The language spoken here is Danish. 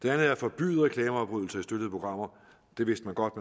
er at forbyde reklameafbrydelser i støttede programmer det vidste man godt